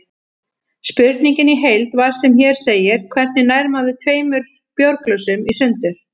Spurningin í heild var sem hér segir: Hvernig nær maður tveimur bjórglösum í sundur?